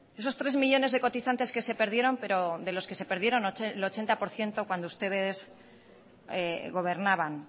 esos tres millónes de cotizantes que se perdieron pero de los que se perdieron el ochenta por ciento cuando ustedes gobernaban